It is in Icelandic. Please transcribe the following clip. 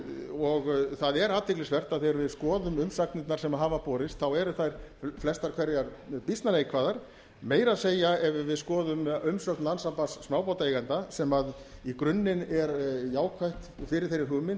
og það er athyglisvert að þegar við skoðum umsagnirnar sem hafa borist þá eru þær flestar hverjar býsna neikvæðar meira að segja ef við skoðum umsögn landssambands smábátaeigenda sem í grunninn er jákvæð fyrir þeirri hugmynd